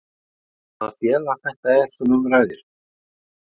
Veistu hvaða félag þetta er sem um ræðir?